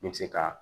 N bɛ se ka